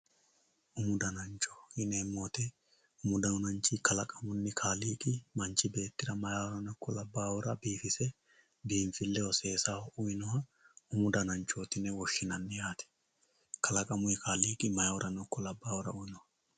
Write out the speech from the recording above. Umu danancho yineemmo woyte ,umu dananchi kalaqamunni kaaliiqi manchi beettira maayihura ikko labbahura biifise biinfileho seessaho uyinoha umu dananchoti yine woshshinanni yaate kalaqamuni kaaliiqi maayihurano labbahurano uyinoho.